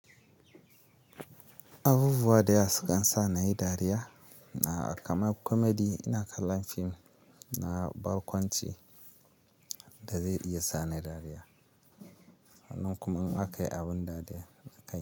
Abubuwa da yawa kan sukan sa nayi dariya na kama comedy ina kallon fim na barkwanci da zai iya sa ni dariya. Wannan kuma in aka yi abun dariya.